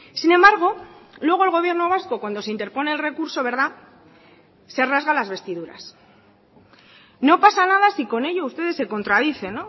sin embargo luego el gobierno vasco cuando se interpone el recurso verdad se rasga las vestiduras no pasa nada si con ello ustedes se contradicen